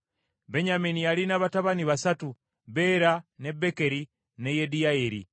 Benyamini yalina abatabani basatu, Bera, ne Bekeri ne Yediyayeri.